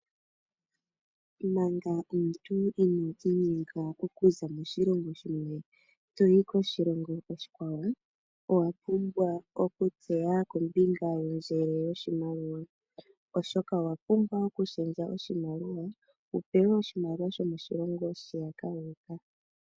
Manga omuntu ino za moshilongo shimwe toyi koshilongo oshikwawo, owa pumbwa okutseya kombinga yondjele yoshimaliwa. Oshoka owa pumbwa okushendja oshimaliwa wu pewe oshimaliwa sho moshilongo shiyaka wu uka.